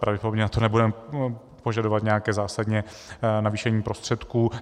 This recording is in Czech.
Pravděpodobně na to nebudeme požadovat nějaké zásadní navýšení prostředků.